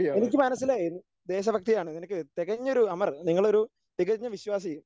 എനിക്കു മനസ്സിലായി ദേശഭക്തിയാണ് നിനക്ക് തികഞ്ഞൊരു അമർ നിങ്ങളൊരു തികഞ്ഞ വിശ്വാസി